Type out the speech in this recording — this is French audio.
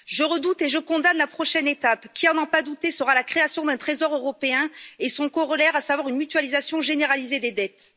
Je redoute et je condamne la prochaine étape qui, à n'en pas douter, sera la création d'un Trésor européen et son corollaire, à savoir une mutualisation généralisée des dettes.